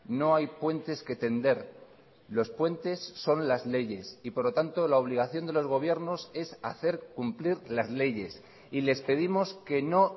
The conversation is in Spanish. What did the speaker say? no hay puentes que tender los puentes son las leyes y por lo tanto la obligación de los gobiernos es hacer cumplir las leyes y les pedimos que no